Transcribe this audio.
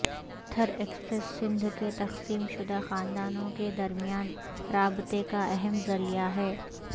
تھر Express Sindh کے تقسیم شدہ خاندانوں کے درمیان رابطے کا اہم ذریعہ ہے